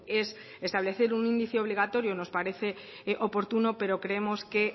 es establecer un índice obligatorio nos parece oportuno pero creemos que